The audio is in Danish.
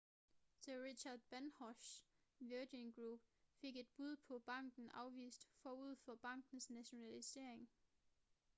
sir richard bransons virgin group fik et bud på banken afvist forud for bankens nationalisering